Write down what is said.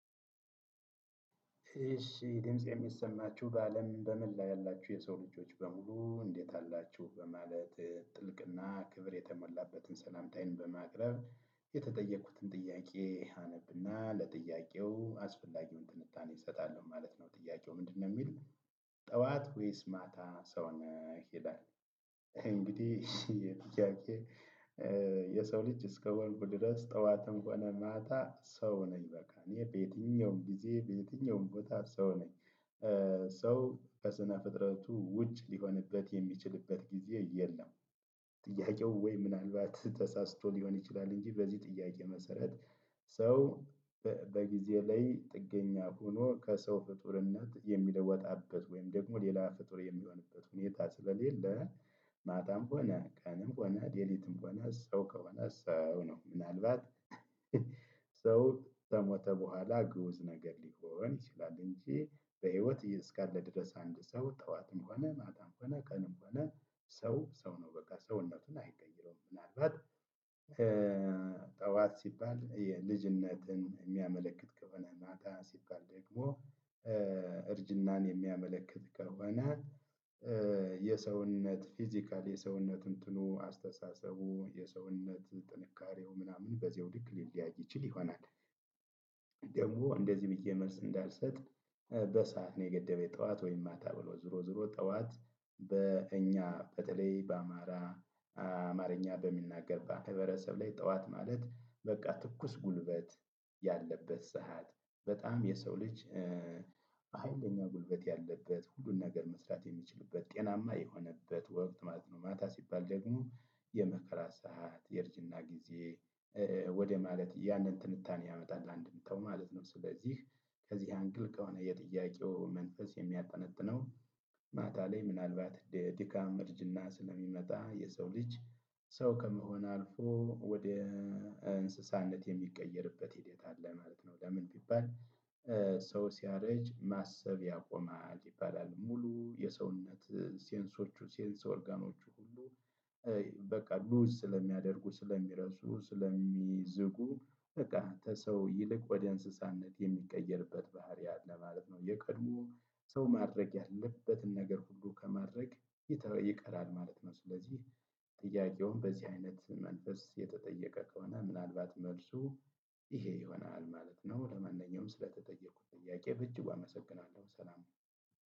እሺ ድምጽ የሚሰማችሁ በአለም በመላ ያላችሁ የሰው ልጆች በሙሉ እንዴት አላችሁ በማለት ጥልቅና ክብር የተሞላበትን ሰላምታይን በማቅረብ የተጠየቁትን ጥያቄ አነብና ለጥያቄው አስፈላጊውን ትንታኔ እሰጣለሁ ማለት ነው። ጥያቄው ምንድነው የሚል? ጠዋት ወይስ ማታ ሰው ነህ ይላል? እንግዲህ የሰው ልጅ እስከሆንኩ ድረስ ጠዋትም ሆነ ማታ ሰው ነኝ በቃ እኔ በየትኛውም ጊዜ በየትኛውም ቦታ ሰው ነኝ ሰው ከስነ ፍጥረቱ ውጭ ሊሆንበት የሚችልበት ጊዜ የለም። ጥያቄው ወይ ምናልባት ተሳስቶ ሊሆን ይችላል እንጂ በዚህ ጥያቄ መሰረት ሰው በጊዜ ላይ ጥገኛ ሆኖ ከሰው ፍጡርነት የሚወጣበት ወይም ደግሞ ሌላ ፍጡር የሚሆንበት ሁኔታ ስለሌለ። ማታም ሆነ ቀንም ሆነ ሌሊትም ሆነ ሰው ከበነስ ሰው ነው። ምናልባት ሰው ከሞተ በኋላ ግኡዝ ነገር ሊሆን ይችላል እንጂ። በህይወት እስካለ ድረስ አንድ ሰው ጠዋትም ሆነ ማታም ሆነ ቀንም ሆነ ሰው ሰው ነው። ምናልባት ጠዋት ሲባል የልጅነትን የሚያመለክት ከሆነ ማታ ሲባል ደግሞ እርጅናን የሚያመለክት ከሆነ የሰውነት ፊዚካል የሰውነት እንትኑ አስተሳሰቡ የሰውነት ጥንካሬው ምናምን በዘውድክ ሊለያይ ይችል ይሆናል። ደግሞ እንደዚህ ብዬ መልስ እንዳልሰጥ በሰአት ነው የገደበው ጠዋት ወይም ማታ ብሎ ዞሮ ዞሮ ጠዋት። በእኛ በተለይ በአማራ አማርኛ በሚናገር በህብረተሰብ ላይ ጠዋት ማለት በቃ ትኩስ ጉልበት ያለበት ሰዓት በጣም የሰው ልጅ ሀይለኛ ጉልበት ያለበት ሁሉን ነገር መስራት የሚችልበት ጤናማ የሆነበት ወቅት ማለት ነው። ማታ ሲባል ደግሞ የመከራ ሰዓት የርጅና ጊዜ። ወደ ማለት ያንን ትንታኔ ያመጣል አንድ ምታው ማለት ነው። ስለዚህ ከዚህ አንግል ከሆነ የጥያቄው መንፈስ የሚያጠነጥነው። ማታ ላይ ምናልባት ድካም እርጅና ስለሚመጣ የሰው ልጅ ሰው ከመሆን አልፎ ወደ እንስሳነት የሚቀየርበት ሂደት አለ ማለት ነው። ለምን ቢባል? ሰው ሲያረጅ ማሰብ ያቆማል ይባላል ሙሉ የሰውነት ሴንሶቹ ሴንስ ኦርጋኖቹ ሁሉ በቃ ግኡዝ ስለሚሆኑ ስለሚረሱ ስለሚዝጉ በቃ ሰው ይልቅ ወደ እንስሳነት የሚቀየርበት ባህሪያት ለማለት ነው። የቀድሞ ሰው ማድረግ ያለበትን ነገር ሁሉ ከማድረግ ይቀራል ማለት ነው። ስለዚህ ጥያቄውን በዚህ አይነት መንፈስ የተጠየቀ ከሆነ ምናልባት መልሱ ይሆናል ማለት ነው። ለማንኛውም ስለተጠየኩት ጥያቄ በእጅጉ አመሰግናለሁ ሰላም።